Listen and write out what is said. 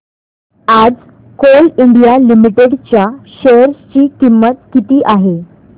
आज coal India limited च्या share ची किंमत किती आहे